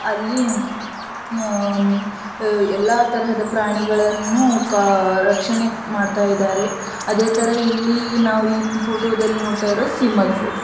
ಅಲ್ಲಿ ಆಅಹ್ಮ್ ಎಲ್ಲಾ ತರಹದ ಪ್ರಾಣಿಗಳನ್ನು ಕ ರಕ್ಷಣೆ ಮಾಡ್ತಾ ಇದ್ದಾರೆ ಅದೇ ತರ ಇಲ್ಲಿ ನಾವು ಫೋಟೋ ದಲ್ಲಿ ನೋಡ್ತಾ ಇರೋದು ಸಿಂಹದ್ ಫೋಟೋ .